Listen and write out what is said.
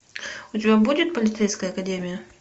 у тебя будет полицейская академия